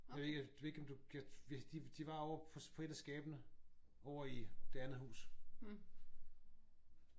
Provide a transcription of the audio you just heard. Jeg ved ikke om du de de var på et af skabene ovre i det andet hus